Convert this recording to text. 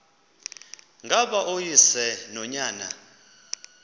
ngaba uyise nonyana